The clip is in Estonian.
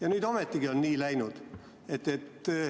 Aga nüüd on ometigi nii läinud.